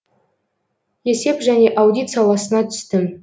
есеп және аудит саласына түстім